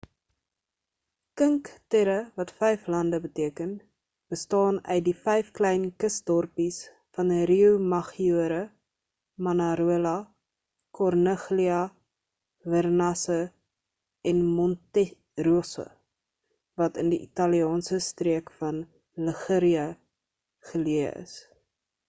cinque terre wat vyf lande beteken bestaan uit die vyf klein kusdorpies van riomaggiore manarola corniglia vernazza en monterosso wat in die italiaanse streek van liguria geleë is